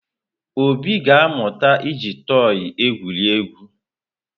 Obi ga-amụta iji tọị egwuri egwu.